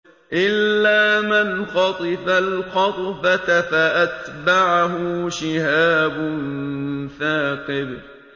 إِلَّا مَنْ خَطِفَ الْخَطْفَةَ فَأَتْبَعَهُ شِهَابٌ ثَاقِبٌ